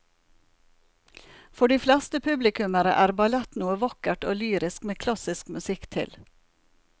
For de fleste publikummere er ballett noe vakkert og lyrisk med klassisk musikk til.